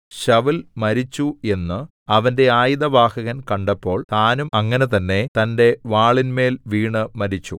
ശൌല്‍ മരിച്ചു എന്നു അവന്റെ ആയുധവാഹകൻ കണ്ടപ്പോൾ താനും അങ്ങനെ തന്നെ തന്റെ വാളിന്മേൽ വീണു മരിച്ചു